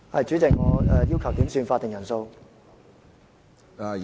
主席，我要求點算法定人數。